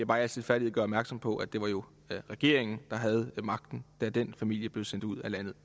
bare i al stilfærdighed gøre opmærksom på at det jo var regeringen der havde magten da den familie blev sendt ud af landet